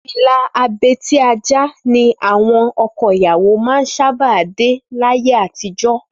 Fìlà abetí-ajá ni àwọn ọkọ ìyàwó máa ń sábà dé láyé àtijọ́